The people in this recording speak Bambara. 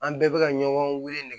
An bɛɛ bɛ ka ɲɔgɔn weele